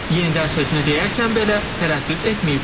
Yenidən sözünü deyərkən belə tərəddüd etməyib.